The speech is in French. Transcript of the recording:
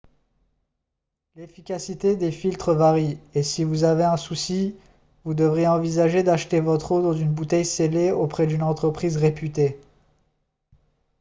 l'efficacité des filtres varie et si vous avez un souci vous devriez envisager d'acheter votre eau dans une bouteille scellée auprès d'une entreprise réputée